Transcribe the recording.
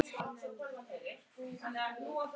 Oss hafa augun þessi